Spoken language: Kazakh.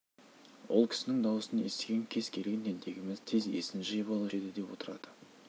сол мектептің бітірушілерінің кез келгені бүгінгі күндері қуанышбай ағай келе жатқанда бүкіл мектеп сілтідей тынып қалатынбыз